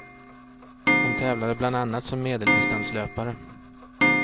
Hon tävlade bland annat som medeldistanslöpare.